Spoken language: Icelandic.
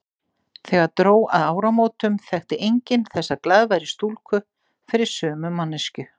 Þegar dró að áramótum þekkti enginn þessa glaðværu stúlku fyrir sömu manneskju.